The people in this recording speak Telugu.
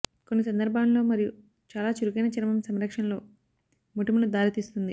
కొన్ని సందర్భాల్లో మరియు చాలా చురుకైన చర్మం సంరక్షణలో మోటిమలు దారితీస్తుంది